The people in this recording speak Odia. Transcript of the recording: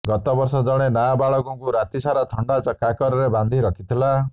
ଗତବର୍ଷ ଜଣେ ନାବାଳକକୁ ରାତିସାରା ଥଣ୍ଡା କାକରରେ ବାନ୍ଧି ରଖିଥିଲା